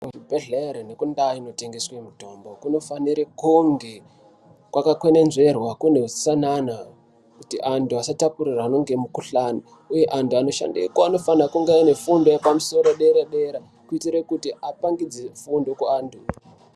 Kuzvibhedhela nendaa dzinotengeswa mitombo kunofanire kunge kwakakwenenzverwa kune hutsanana kuti antu asatapurirana ngemikushani uye antu anofanira kungeyo anofanira kuve ane fundo yepamusoro dera dera kuitire kuti apangidze fundo kuantu